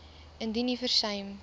indien u versuim